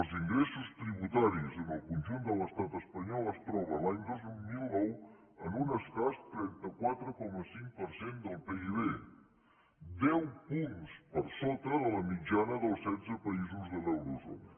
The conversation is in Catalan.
els ingressos tributaris en el conjunt de l’estat espanyol es troben l’any dos mil nou en un escàs trenta quatre coma cinc per cent del pib deu punts per sota de la mitjana dels setze països de l’eurozona